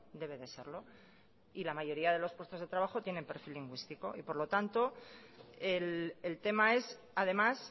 debe de serlo y la mayoría de los puestos de trabajos tienen perfil lingüístico y por lo tanto el tema es además